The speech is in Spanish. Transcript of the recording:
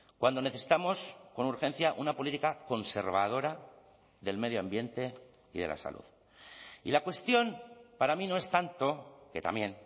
cuando necesitamos con urgencia una política conservadora del medio ambiente y de la salud y la cuestión para mí no es tanto que también